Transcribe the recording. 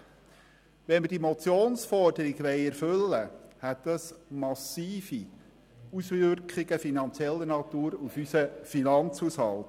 Wenn wir diese Motionsforderung erfüllen wollen, hätte das massive Auswirkungen auf unseren Finanzhaushalt.